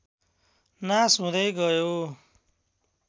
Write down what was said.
नास हुँदै गयो